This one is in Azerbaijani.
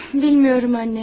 Bilmiyorum anne.